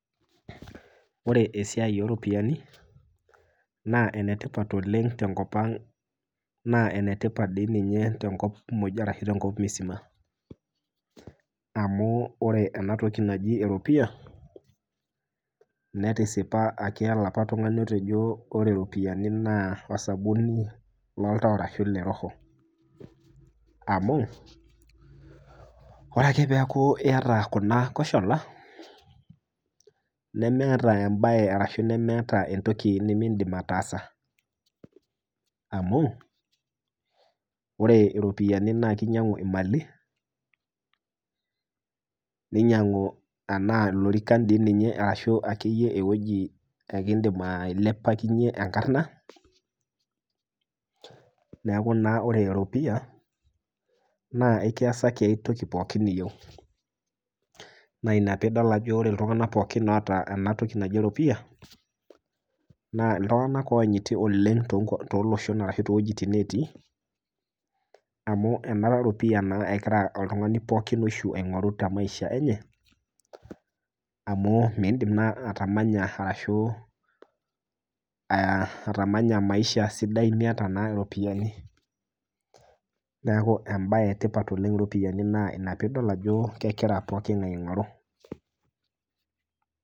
Ore esiai ooropiyiani naa enetipat tenkop ang naa enetipat dii ninye tenkop muj ashu tenkop msima .amu ore enatoki naji eropiyia netisipa olapa tungani otejo ore ropiyiani naa osabuni loltau ashu osabuni leroho, amu ore ake pee eku iyata kuna koshola nemeeta embae ashu esiai nimindim ataasa, amu ore ropiyiani naa kinyangu mali ,ninyangu lorikan enaa eweji akeyie nikiindim ailepakinyie enkarna ,neeku naa ore eropiyia ekiasaki ai toki pookin niyieu .na ina pee idol ajo ore iltunganak pooki oota enatoki naji eropiyia ,naa iltunganak loyanyiti oleng ashu toowejitin netii, amu ena ropiyiani naa egira oltungani pookin oishu aingoru temaisha enye amu miindim naa atamanya maisha sidai miyata ropiyiani. neeku embae etipat oleng iropiyiani neeku ina pee idol ajo kegira pooki ngae aingoru.